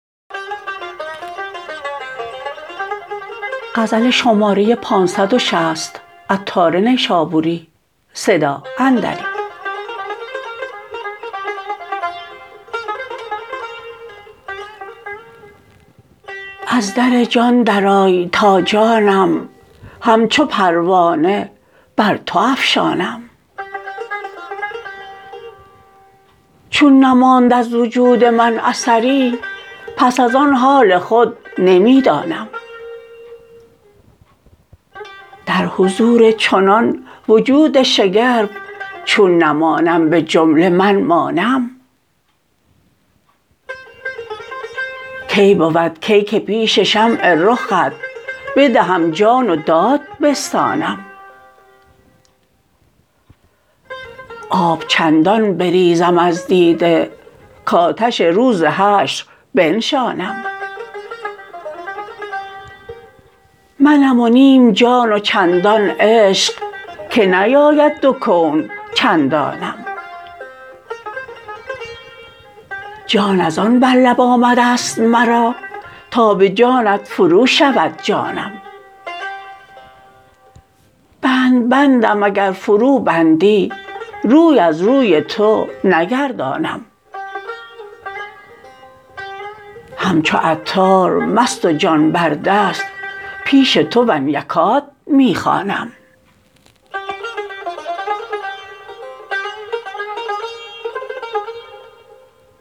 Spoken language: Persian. از در جان درآی تا جانم همچو پروانه بر تو افشانم چون نماند از وجود من اثری پس از آن حال خود نمی دانم در حضور چنان وجود شگرف چون نمانم به جمله من مانم کی بود کی که پیش شمع رخت بدهم جان و داد بستانم آب چندان بریزم از دیده کاتش روز حشر بنشانم منم و نیم جان و چندان عشق که نیاید دو کون چندانم جان از آن بر لب آمد است مرا تا به جانت فرو شود جانم بند بندم اگر فرو بندی روی از روی تو نگردانم همچو عطار مست و جان بر دست پیش تو ان یکاد می خوانم